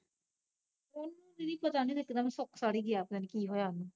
ਓਹਨੂੰ, ਦੀਦੀ ਪਤਾ ਨੀ ਇਕਦਮ ਸੁੱਕ ਸੜ ਈ ਗਿਆ ਪਤਾ ਨੀ ਕੀ ਹੋਇਆ ਓਹਨੂੰ